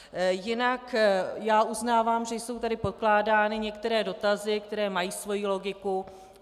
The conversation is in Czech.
Jinak já uznávám, že jsou tady pokládány některé dotazy, které mají svoji logiku.